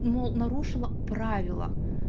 ну нарушила правила